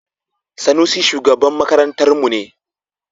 Sanusi shugaban makarantarmu ne.